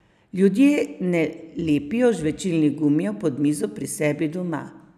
Ljudje ne lepijo žvečilnih gumijev pod mizo pri sebi doma.